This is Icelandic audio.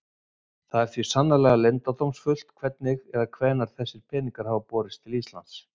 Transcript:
Það er því sannarlega leyndardómsfullt hvernig eða hvenær þessir peningar hafa borist til Íslands.